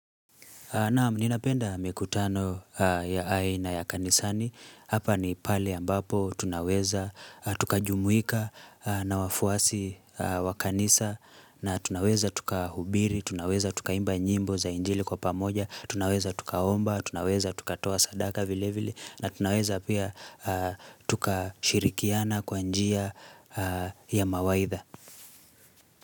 Naam, ninapenda mikutano ya aina ya kanisani. Hapa ni pale ambapo tunaweza tukajumuika na wafuasi wa kanisa. Na tunaweza tukahubiri, tunaweza tukaimba nyimbo za injili kwa pamoja. Tunaweza tukaomba, tunaweza tuka toa sadaka vilevili. Na tunaweza pia tuka shirikiana kwa njia ya mawaidha.